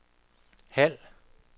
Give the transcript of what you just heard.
halv